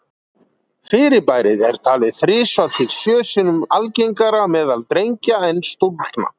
Fyrirbærið er talið þrisvar til sjö sinnum algengara meðal drengja en stúlkna.